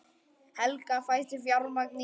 Helga: Fæst fjármagn í það?